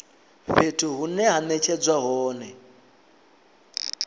fhethu hune ha netshedzwa hone